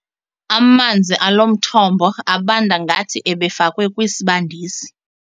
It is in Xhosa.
Amanzi alo mthombo abanda ngathi ebefakwe kwisibandisi.